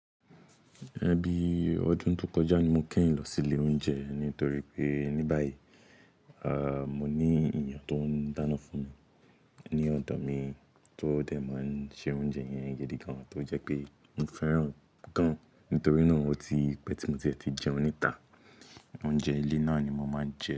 Ẹn bí ọdún tó kọjá ni mo kẹyin lọ sí ilé oúnjẹ nítorí pé ní báyìí, à, mo ní èèyàn tó ń dáná fún mi ní ọ̀dọ̀ mi tó dẹ̀ máa ń ṣe oúnjẹ yẹn gidi gan, tó jẹ́ pé mo fẹ́ràn gan-an. Nítorí náà, ó tí pẹ́ tí mo tiẹ̀ ti jẹun níta, oúnjẹ ilé náà ni mo máa n jẹ.